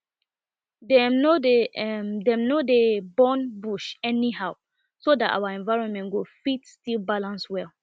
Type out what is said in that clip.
dem no dey dem no dey burn bush anyhow so that our environment go fit still balance well